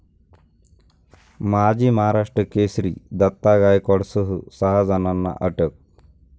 माजी महाराष्ट्र केसरी दत्ता गायकवाडसह सहा जणांना अटक